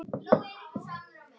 Þetta sé því stórt skref.